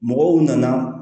Mɔgɔw nana